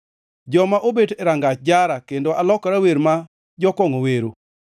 Joma obet e rangach jara, kendo alokora wer ma jokongʼo wero.